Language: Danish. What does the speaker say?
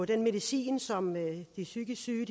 den medicin som de psykisk syge